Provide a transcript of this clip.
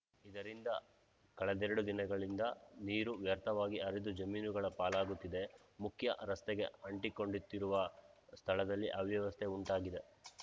ಇದರಿಂದ ಕಳೆದರೆಡು ದಿನಗಳಿಂದ ನೀರು ವ್ಯರ್ಥವಾಗಿ ಹರಿದು ಜಮೀನುಗಳ ಪಾಲಾಗುತ್ತಿದೆ ಮುಖ್ಯ ರಸ್ತೆಗೆ ಅಂಟಿಕೊಂಡಂತಿರುವ ಸ್ಥಳದಲ್ಲಿ ಅವ್ಯವಸ್ಥೆ ಉಂಟಾಗಿದೆ